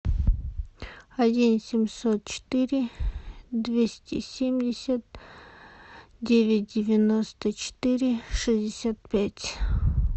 один семьсот четыре двести семьдесят девять девяносто четыре шестьдесят пять